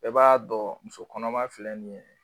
E b'a dɔn muso kɔnɔma filɛ nin ye.